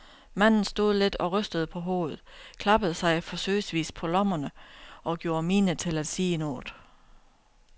Manden stod lidt og rystede på hovedet, klappede sig forsøgsvis på lommerne og gjorde mine til at sige noget.